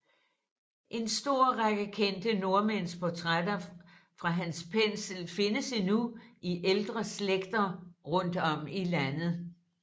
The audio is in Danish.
En stor række kendte nordmænds portrætter fra hans pensel findes endnu i ældre slægter rundt om i Landet